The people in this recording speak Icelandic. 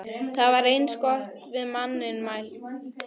Það er eins og við manninn mælt.